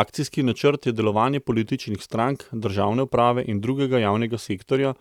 Akcijski načrt je delovanje političnih strank, državne uprave in drugega javnega sektorja,